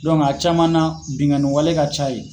a caman na binkanniwale ka ca ye.